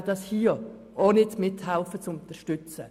Die glpFraktion wird auch diese Motion nicht unterstützen.